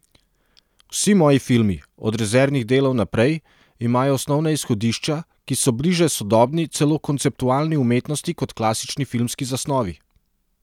Vsi moji filmi, od Rezervnih delov naprej, imajo osnovna izhodišča, ki so bliže sodobni, celo konceptualni umetnosti kot klasični filmski zasnovi.